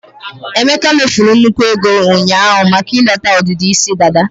emeka mefuru nnukwu ego ụnyaahụ maka ileta ọdịdị isi dada.